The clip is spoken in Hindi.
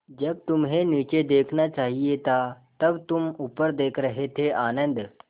जब तुम्हें नीचे देखना चाहिए था तब तुम ऊपर देख रहे थे आनन्द